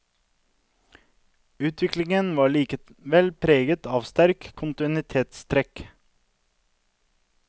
Utviklingen er likevel preget av sterke kontinuitetstrekk.